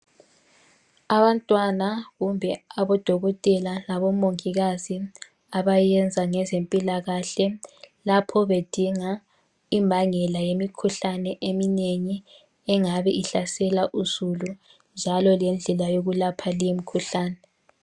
Abantwana kumbe abodokotela labomongikazi abayenza ngezempilakahle lapho bedinga imbangela yemikhuhlane eminengi engabe ihlasela uzulu njalo lendlela yokwelapha le imikhuhlane